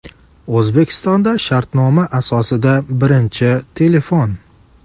O‘zbekistonda shartnoma asosida birinchi telefon!.